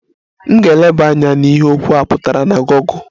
M ga-eleba anya n'ihe okwu a pụtara na Gọgụl